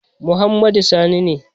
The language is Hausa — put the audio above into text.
Muhammad Sani ne.